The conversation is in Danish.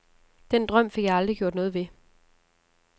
Den drøm fik jeg aldrig gjort noget ved.